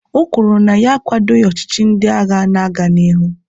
o kwuru na ya akwadoghị ọchịchị ndị agha na-aga n'ihu